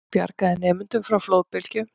Bjargaði nemendum frá flóðbylgju